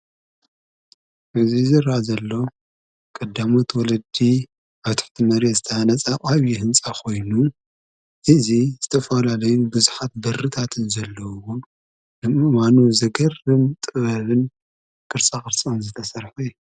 እዙይ ዝራዘሎ ቀዳሞ ት ወለዲ ኣብ ትሕቲ መሬት ዝተቀረፀ ሕንጻ ኾይኑ እዙ ዝተፈላለይ ብዙኃት በርታትን ዘለዉውን ንምእማኑ ዘገርም ጥበብን ቅርፃቅርፅን ዝተሠርሑ እዮም::